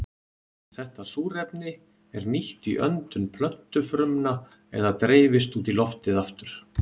Þetta súrefni er nýtt í öndun plöntufrumna eða dreifist út í loftið aftur.